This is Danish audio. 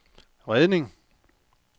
redning